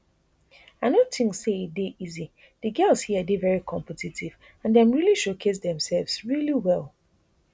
i no tink say e dey easy di girls here dey veri competitive and dem really showcase demsefs really well